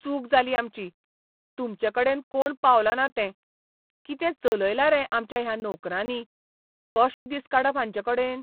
चूक जाली आमची, तुमचेकडेन कोण पावलो ना तें. कितें चलयलां रे आमच्या ह्या नोकरांनी. कशे दीस काडप हांचेकडेन?